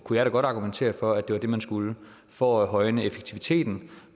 kunne jeg da godt argumentere for at det var det man skulle for at højne effektiviteten